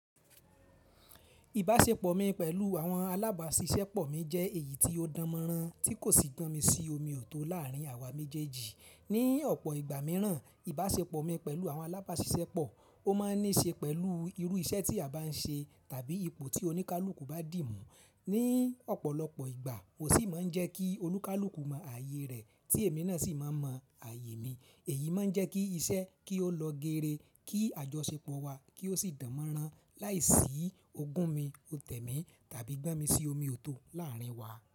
Ìbáṣepọ̀ mi pẹ̀lú àwọn alábáṣiṣẹ́pọ̀ mi jẹ́ èyí tí ó dánmọ́nrán tí kò sì gbọ́nmisí omi òtó láàrín àwa méjèèjì. Ní ọ̀pọ̀ ìgbà míràn, ìbáṣepọ̀ mi pẹ̀lú àwọn alábáṣiṣẹ́pọ̀, ó máa ní ṣe pẹ̀lú irú iṣẹ́ tí a bá n ṣe tàbí ipò tí olúkúlùkù bá dì mú. Ní ọ̀pọ̀lọpọ̀ ìgbà mó sìi máa ń jẹ́ kí olúkúlùkù mọ ààyè rẹ̀ tí èmi náà sì máa n mọ ààyè mi. Èyí máa ń jẹ́ kí iṣẹ́ kí ó lọ geere, kí àjọṣepọ̀ wa kí ó sì dánmọ́nrán láìsí ogún mi, òtẹ̀ mi tàbí gbon mi sí omi òtó láàrín wa.